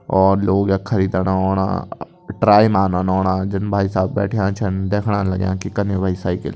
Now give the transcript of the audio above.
और लोग यख खरीदण ओणा ट्राई मानन ओणा जन भाई शाहब बैठ्यां छन देखण लग्यां की कन्नी वे साइकिल --